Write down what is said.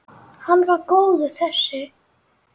Hann var góður þessi!